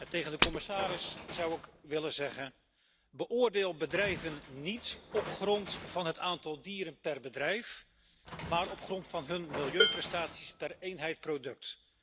Tegen de commissaris zou ik willen zeggen beoordeel bedrijven niet op grond van het aantal dieren per bedrijf, maar op grond van hun milieuprestaties per eenheid product.